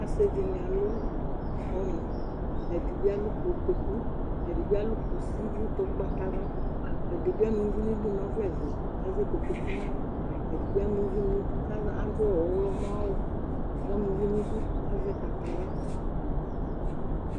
ɔsidi alʋ ɔnʋ ɛdibi alʋ kotokʋ ɛdibi alʋ kʋsi nʋ ʋgbatawla ɛdibi ama ʋvinidʋ nʋ ɔvɛvɛ ɛdibi ama ʋvi nidʋ kadʋ ɔwlɔmɔ awʋ ɛdibi azɛ kataya